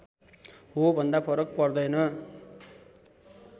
हो भन्दा फरक पर्दैन